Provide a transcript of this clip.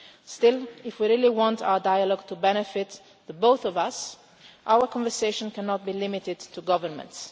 Still, if we really want our dialogue to benefit both of us, our conversation cannot be limited to governments.